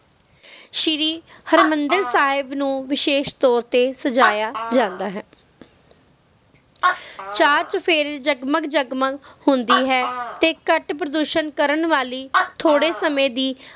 ਸ਼ੀਰੀ ਹਰਮਿੰਦਰ ਸਾਹਿਬ ਨੂੰ ਵਿਸ਼ੇਸ਼ ਤੌਰ ਤੇ ਅਜਾਇਆ ਜਾਂਦਾ ਹੈ ਚਾਰ ਚੁਫੇਰ ਜਗਮਗ ਜਗਮਗ ਹੁੰਦੀ ਹੈ ਤੇ ਘਟ ਪ੍ਰਦੂਸ਼ਣ ਕਰਨ ਵਾਲੀ ਥੋੜੇ ਸਮੇ ਦੀ